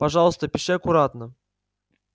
пожалуйста пиши аккуратно